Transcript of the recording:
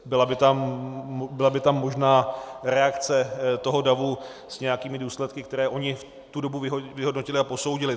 Byla by tam možná reakce toho davu s nějakými důsledky, které oni v tu dobu vyhodnotili a posoudili.